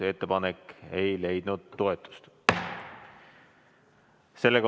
Ettepanek ei leidnud toetust.